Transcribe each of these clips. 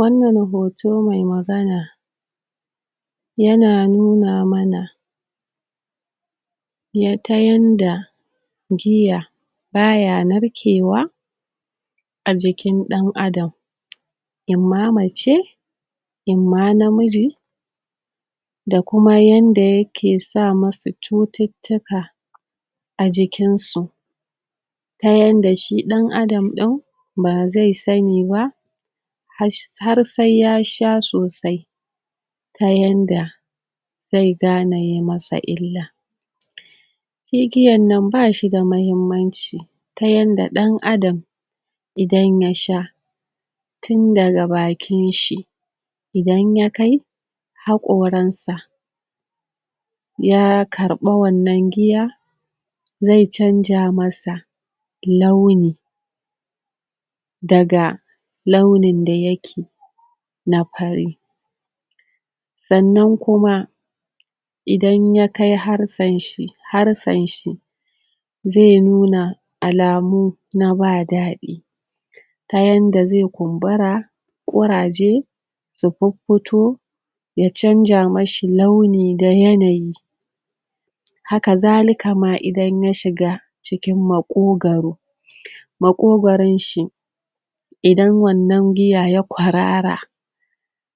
Wannan hoto mai magana yana nuna mana ta yanda giya ba ya narkewa a jikin ɗan'adam in mace in ma namiji da kuma yanda yake sa musu cututtuka a jikinsu. Ta yanda shi ɗan'adam ɗin ba zai sani ba har sai ya sha sosai ta yanda zai gane yi masa illa. Shi giyan nan ba shi da muhimmanci ta yanda ɗan'adam idan ya sha tun daga bakin shi idan ya kai haƙoransa ya karɓa wannan giya zai canja masa launi daga launin da yake na fari. Sannan kuma, idan ya kai harsen shi, harsen shi zai nuna alamu na ba daɗi ta yanda zai kumbura, ƙuraje su fiffito ya canja mishi launi da yanayi Hakazalika ma, idan ya shiga cikin maƙogoro. Maƙogoron shi idan wannan giya ya kwarara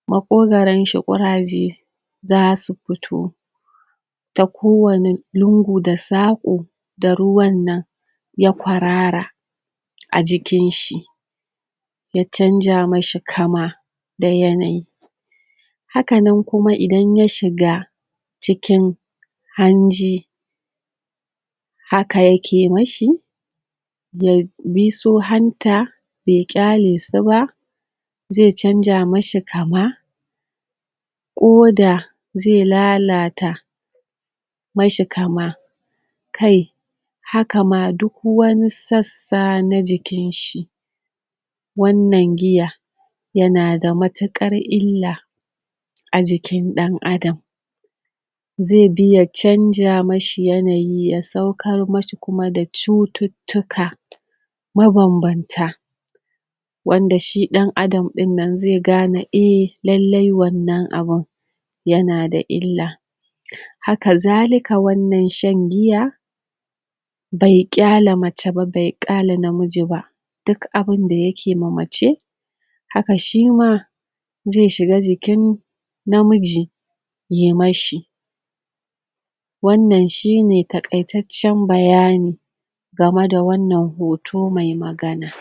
maƙogoron shi ƙuraje za su fito ta kowane lungu da saƙo da ruwan nan ya kwarara a jikin shi. Ya canja mishi kama da yanayi Haka nan kuma idan ya shiga cikin hanji haka yake mishi ya bis u hanta, bai ƙyale su ba zai canja mishi kama ƙoda zai lalata mashi kama Kai, haka ma duk wani sassa na jikin shi wannan giya yana da matuƙar illa a jikin ɗan'adam. Zai bi ya canja mashi yanayi ya saukar mashi kuma da cututtuka mabambanta. Wanda shi ɗan'adam ɗin nan zai gane, e, lalle wannan abin yana da illa. Hakazalika wannan shan giya bai ƙyale mace ba bai ƙyale namiji ba duk abin da yake ma mace haka shi ma zai shiga jikin namiji ya mashi. Wannan shi ne taƙaitaccen bayani game da wannan hoto mai magana.